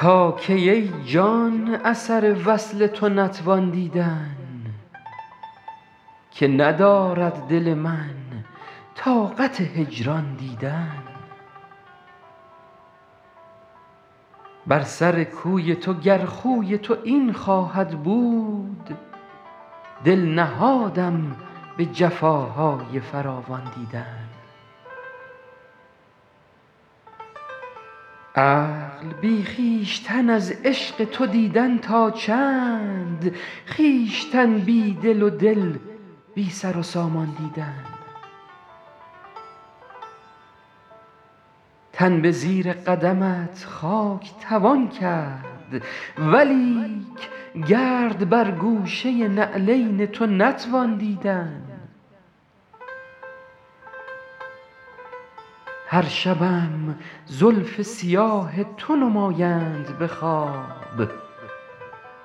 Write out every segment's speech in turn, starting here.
تا کی ای جان اثر وصل تو نتوان دیدن که ندارد دل من طاقت هجران دیدن بر سر کوی تو گر خوی تو این خواهد بود دل نهادم به جفاهای فراوان دیدن عقل بی خویشتن از عشق تو دیدن تا چند خویشتن بی دل و دل بی سر و سامان دیدن تن به زیر قدمت خاک توان کرد ولیک گرد بر گوشه نعلین تو نتوان دیدن هر شبم زلف سیاه تو نمایند به خواب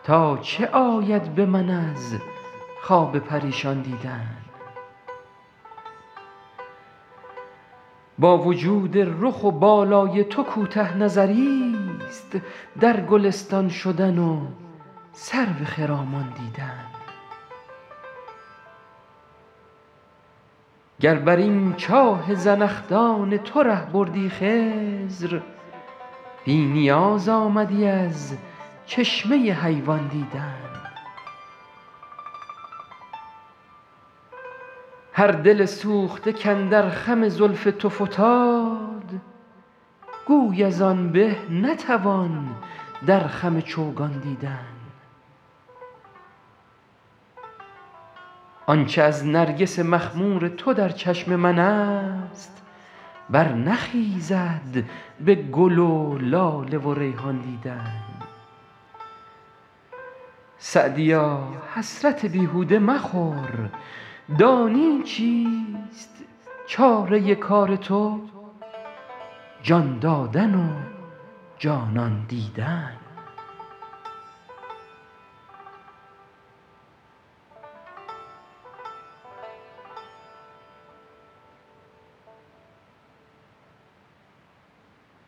تا چه آید به من از خواب پریشان دیدن با وجود رخ و بالای تو کوته نظریست در گلستان شدن و سرو خرامان دیدن گر بر این چاه زنخدان تو ره بردی خضر بی نیاز آمدی از چشمه حیوان دیدن هر دل سوخته کاندر خم زلف تو فتاد گوی از آن به نتوان در خم چوگان دیدن آن چه از نرگس مخمور تو در چشم من است برنخیزد به گل و لاله و ریحان دیدن سعدیا حسرت بیهوده مخور دانی چیست چاره کار تو جان دادن و جانان دیدن